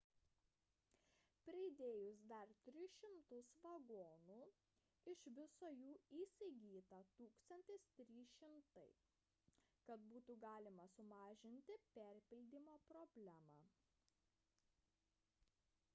pridėjus dar 300 vagonų iš viso jų įsigyta 1 300 kad būtų galima sumažinti perpildymo problemą